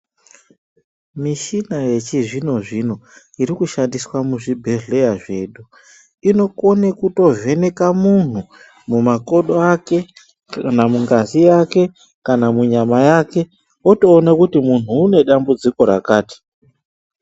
Mishina yechizvino-zvino iri kushandiswa muzvibhedhleya zvedu, inokone kutovheneka munhu mumakodo ake, kana mungazi yake, kana munyama yake ,otoona kuti munhu une dambudziko rakati.